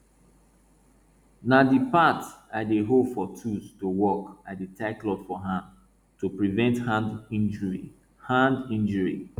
na di part wey i dey hold for tools to work i dey tie cloth for hand to prevent hand injury hand injury